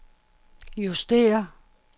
justér